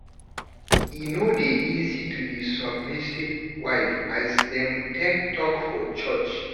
E no dey easy to be submissive wife as dem take talk for church.